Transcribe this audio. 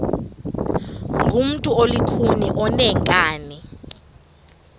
ngumntu olukhuni oneenkani